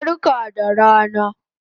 Barka da rana